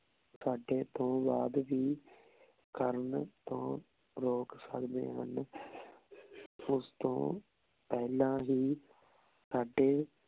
ਸਾਡੇ ਤੋਂ ਬਾਅਦ ਵੀ ਕਰਨ ਤੋਂ ਰੋਕ ਸਕਦੇ ਹਨ ਓਸ ਤੋਂ ਪੇਹ੍ਲਾਂ ਹੀ ਤਾਡੇ